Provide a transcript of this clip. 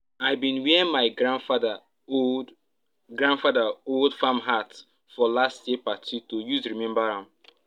i bin wear my grandfather old grandfather old farm hat for last year party to use remember am